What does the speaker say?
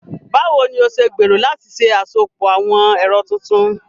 Báwo ni o ṣe gbèrò láti ṣe àsopọ̀ àwọn ẹ̀rọ tuntun?